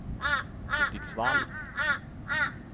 Hudiksvall